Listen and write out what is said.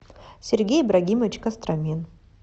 сергей ибрагимович костромин